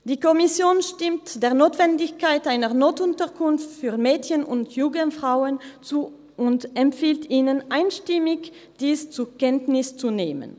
Die Kommission stimmt der Notwendigkeit einer Notunterkunft für Mädchen und junge Frauen zu und empfiehlt Ihnen einstimmig, dies zur Kenntnis zu nehmen.